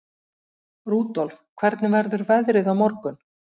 Rudolf, hvernig verður veðrið á morgun?